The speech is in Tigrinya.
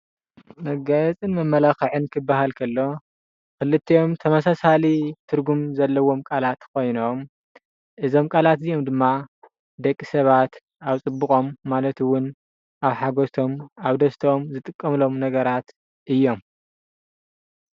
መጋየፅን መመላክዒን ክብሃል ከሎ ከልቲኦም ተመሳሳሊ ትርጉም ዘለዎም ቃላት ኮይኖም እዞም ቃላት እዚኦም ድማ ደቂ ሰባት ኣብ ፅቡቆም ማለት'ውን ኣብ ሓጎሶም ኣብደስተኦም ዝጥቀሙሎም ነገራት እዮም።